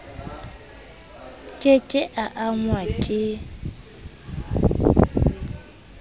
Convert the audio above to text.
ke ke a angwa ke